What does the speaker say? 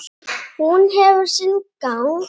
Og hún hefur sinn gang.